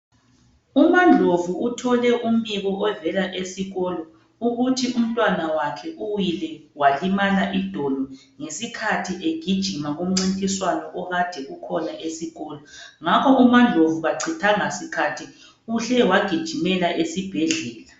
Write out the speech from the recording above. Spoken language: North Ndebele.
Uma Ndlovu uthole umbiko ovela esikolo, ukuthi umntwana wakhe uwile walimala idolo, ngesikhathi egijima kumncintiswano okade ukhona esikolo, ngakho uma Ndlovu kachithanga sikhathi, uhle wagijimela esibhedlela.